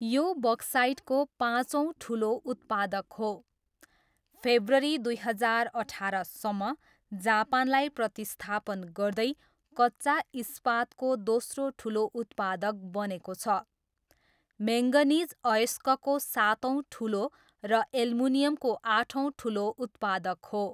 यो बक्साइटको पाँचौँ ठुलो उत्पादक हो, फेब्रुअरी दुई हजार अठारसम्म जापानलाई प्रतिस्थापन गर्दै कच्चा इस्पातको दोस्रो ठुलो उत्पादक बनेको छ, म्याङ्गनिज अयस्कको सातौँ ठुलो र एल्युमिनियमको आठौँ ठुलो उत्पादक हो।